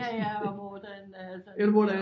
Ja ja og hvor den altså